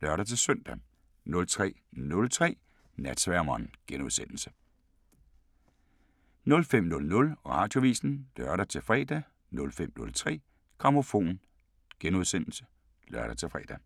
(lør-søn) 03:03: Natsværmeren * 05:00: Radioavisen (lør-fre) 05:03: Grammofon *(lør-fre)